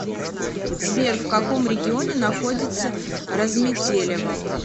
сбер в каком регионе находится разметелево